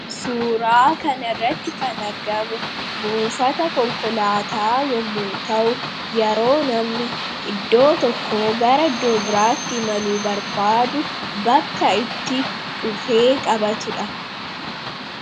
Suuraa kanarratti kan argamu buufata konkolaataa yommuu ta'u, yeroo namni iddoo tokkoo gara biraatti imaluu barbaadu bakka itti dhufee qabatudha.